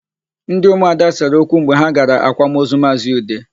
Ndị ụmụada sere okwu mgbe ha gara akwamaozu Maazị Ude.